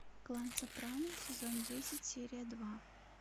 клан сопрано сезон десять серия два